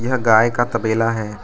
यह गाय का तबेला है।